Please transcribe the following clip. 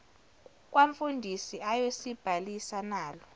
kwamfundisi ayosibhalisa nalu